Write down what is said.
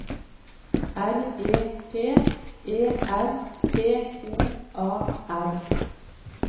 R E P E R T O A R